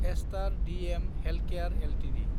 star DM Healthcare Ltd